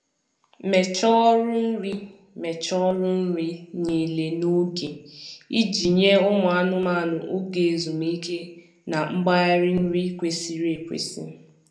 Mechaa ọrụ nri Mechaa ọrụ nri niile n'oge iji nye ụmụ anụmanụ oge ezumike na mgbari nri kwesịrị ekwesị.